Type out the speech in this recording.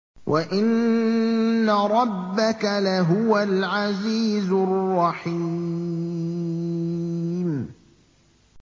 وَإِنَّ رَبَّكَ لَهُوَ الْعَزِيزُ الرَّحِيمُ